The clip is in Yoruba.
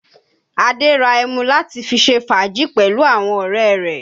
Adé ra ẹmu láti fi ṣe fàájì pẹ̀lú àwọn ọ̀rẹ́ rẹ̀.